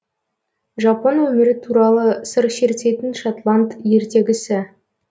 жапон өмірі туралы сыр шертетін шотланд ертегісі